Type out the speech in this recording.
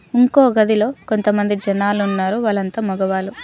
ఇంకో గదిలో కొంతమంది జనాలు ఉన్నారు వాళ్లంతా మగవాళ్ళు.